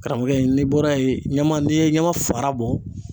Karamɔgɔkɛ n'i bɔra yen , ɲɛma n'i ye ɲama fara bɔ.